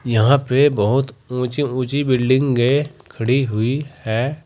यहां पे बहुत ऊंची ऊंची बिल्डिंगे खड़ी हुई है।